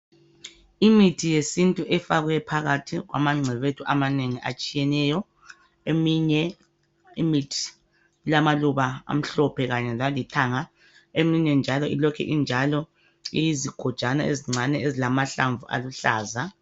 Imithi yesintu efakwe phakathi kwamangcebethu amanengi atshiyeneyo eminye imithi ilamaluba amhlophe Kanye lalithanga eminye njalo ilokhu injalo iyizigojana encane ezilamahlamvu aluhlaza